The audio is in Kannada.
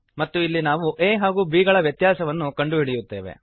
ಮತ್ತು ಇಲ್ಲಿ ನಾವು a ಹಾಗೂ b ಗಳ ವ್ಯತ್ಯಾಸವನ್ನು ಕಂಡುಹಿಡಿಯುತ್ತೇವೆ